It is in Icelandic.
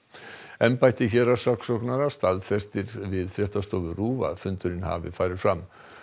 embætti héraðssaksóknara staðfestir við fréttastofu RÚV að fundurinn hafi farið fram